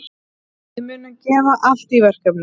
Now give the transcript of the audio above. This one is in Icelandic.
Við munum gefa allt í verkefnið.